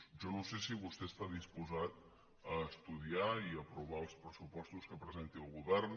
jo no sé si vostè està disposat a estu·diar i aprovar els pressupostos que presenti el govern